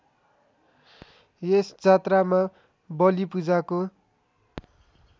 यस जात्रामा बलिपूजाको